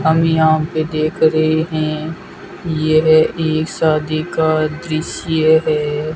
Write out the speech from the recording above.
हम यहां पे देख रहे है यह एक शादी का दृश्य है।